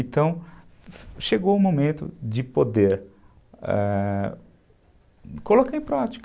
Então, chegou o momento de poder é... colocar em prática.